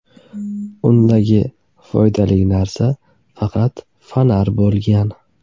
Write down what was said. Undagi foydali narsa faqat fonar bo‘lgan.